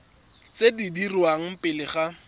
tse di dirwang pele ga